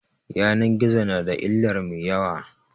Yanan gizo na da illar mai yawa